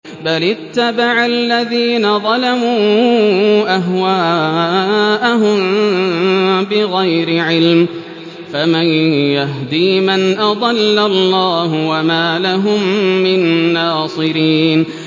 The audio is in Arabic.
بَلِ اتَّبَعَ الَّذِينَ ظَلَمُوا أَهْوَاءَهُم بِغَيْرِ عِلْمٍ ۖ فَمَن يَهْدِي مَنْ أَضَلَّ اللَّهُ ۖ وَمَا لَهُم مِّن نَّاصِرِينَ